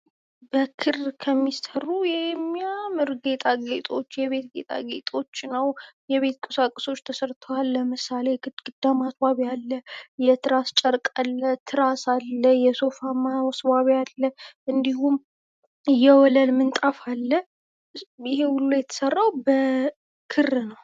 የማስጌጥ ዘይቤዎች እንደ ጣዕምና እንደ ወቅቱ ፋሽን የሚለያዩ ሲሆን ዘመናዊ፣ ባህላዊና ገጠርን ያካትታሉ።